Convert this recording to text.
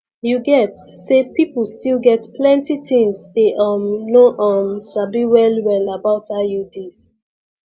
you get say people still get plenty things dey um no um sabi well well about iuds